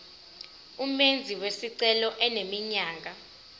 umenzi wesicelo eneminyaka